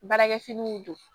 Baarakɛ finiw don